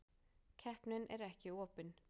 Keppnin er ekki opin.